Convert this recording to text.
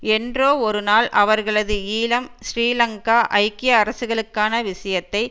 என்றோ ஒரு நாள் அவர்களது ஈழம் ஸ்ரீலங்கா ஐக்கிய அரசுகளுக்கான விஷயத்தை